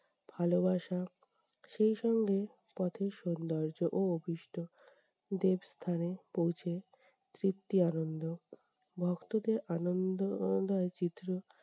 ভালোবাসা, সেই সঙ্গে পথের সৌন্দর্য ও অভীষ্ট দেব স্থানে পৌঁছে, তৃপ্তি আনন্দ। ভক্তদের আনন্দ চিত্র